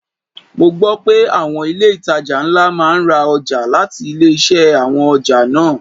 Mo gbo pé àwọn ilé itàjà ńlá máa ń ra ọjà láti ilé-iṣẹ́ àwọn ọjà náà.